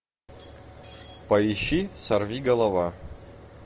поищи сорвиголова